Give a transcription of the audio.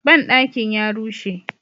Banɗakin ya rushe.